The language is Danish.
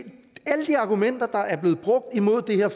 argumenter der er blevet brugt imod det her